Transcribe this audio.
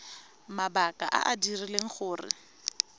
mabaka a a dirileng gore